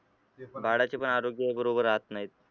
बाळाचे पण आरोग्य बरोबर राहत नाहीत.